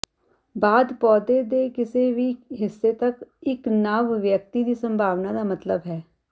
ਬਾਅਦ ਪੌਦੇ ਦੇ ਕਿਸੇ ਵੀ ਹਿੱਸੇ ਤੱਕ ਇੱਕ ਨਵ ਵਿਅਕਤੀ ਦੀ ਸੰਭਾਵਨਾ ਦਾ ਮਤਲਬ ਹੈ